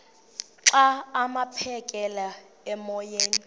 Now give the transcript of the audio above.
xa aphekela emoyeni